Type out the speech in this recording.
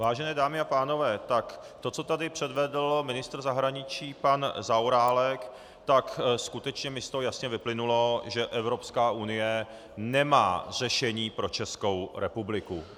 Vážené dámy a pánové, tak to, co tady předvedl ministr zahraničí pan Zaorálek, tak skutečně mi z toho jasně vyplynulo, že Evropská unie nemá řešení pro Českou republiku.